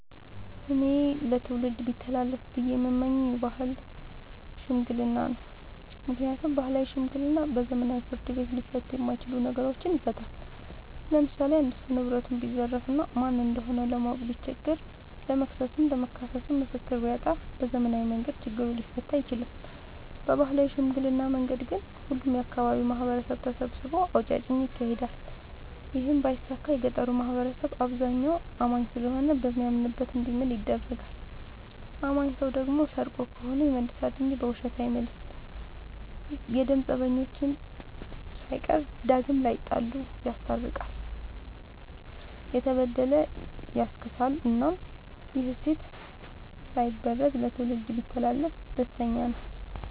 እኔ ለትውልድ ቢተላለፍ ብዬ የምመኘው የባህል ሽምግልና ነው። ምክንያቱም ባህላዊ ሽምግልና በዘመናዊ ፍርድ ቤት ሊፈቱ የማይችሉ ነገሮችን ይፈታል። ለምሳሌ አንድ ሰው ንብረቱን ቢዘረፍ እና ማን እንደሆነ ለማወቅ ቢቸገር ለመክሰስም ለመካስም ምስክር ቢያጣ በዘመናዊ መንገድ ችግሩ ሊፈታ አይችልም። በባህላዊ ሽምግልና መንገድ ግን ሁሉም የአካባቢው ማህበረሰብ ተሰብስቦ አውጣጭ ይካሄዳል ይህ ባይሳካ የገጠሩ ማህበረሰብ አብዛኛው አማኝ ስለሆነ በሚያምንበት እንዲምል ይደረጋል። አማኝ ሰው ደግሞ ሰርቆ ከሆነ ይመልሳ እንጂ በውሸት አይምልም። የደም ፀበኞችን ሳይቀር ዳግም ላይጣሉ ይስታርቃል፤ የተበደለ ያስክሳል እናም ይህ እሴት ሳይበረዝ ለትውልድ ቢተላለፍ ደስተኛ ነኝ።